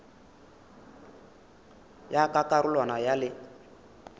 ya ka karolwana ya le